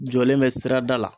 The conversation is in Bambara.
Jɔlen bɛ sirada la